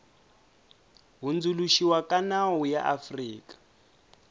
hundzuluxiwa ka nawu ya afrika